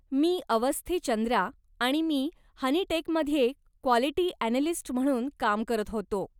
मी अवस्थी चंद्रा आणि मी हनीटेकमध्ये क्वालिटी अॅनलिस्ट म्हणून काम करत होतो.